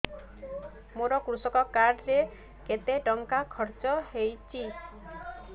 ମୋ କୃଷକ କାର୍ଡ ରେ କେତେ ଟଙ୍କା ଖର୍ଚ୍ଚ ହେଇଚି